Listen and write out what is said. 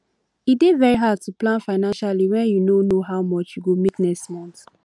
e dey very hard to plan financially when you no know how much you go make next month